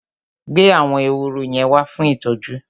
Gbé àwọn ehoro yẹn wá fún ìtọ́jú!